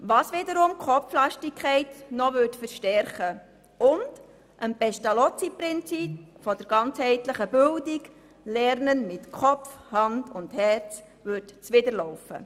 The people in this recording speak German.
Dies würde die Kopflastigkeit der Schule verstärken und dem PestalozziPrinzip der ganzheitlichen Bildung nach dem Prinzip «Lernen mit Kopf, Hand und Herz» zuwiderlaufen.